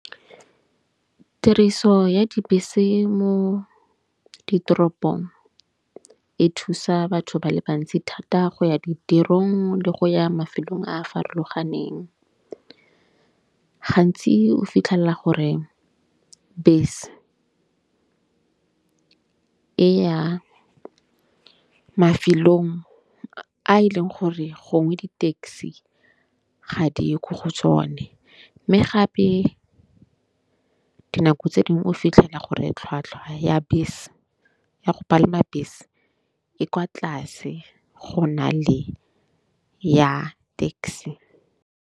Tiriso ya dibese mo ditoropong e thusa batho ba le bantsi thata go ya ditirong le go ya mafelong a farologaneng. Gantsi o fitlhella gore bese e ya mafelong a e leng gore gongwe di-taxi ga di ye ko go tsone. Mme gape dinako tse ding o fitlhela gore tlhwatlhwa ya bese ya go palama bese e kwa tlase go na le ya taxi.